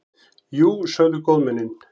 Jú, sögðu góðmennin.